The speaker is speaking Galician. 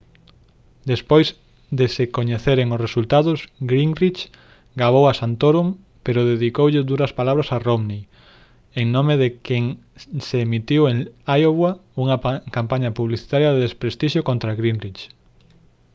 despois de se coñeceren os resultados gingrich gabou a santorum pero dedicoulle duras palabras a romney en nome de quen se emitiu en iowa unha campaña publicitaria de desprestixio contra gingrich